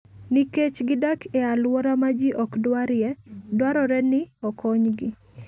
Nikech gidak e alwora ma ji ok dwarie, dwarore ni okonygi.